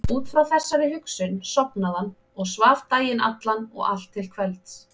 Út frá þessari hugsun sofnaði hann og svaf daginn allan og allt til kvelds.